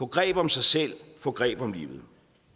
greb om sig selv få greb om livet